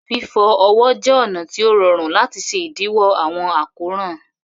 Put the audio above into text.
Fifọ ọwọ jẹ ọna ti o rọ̀run lati ṣẹ idiwọ awọn akóran.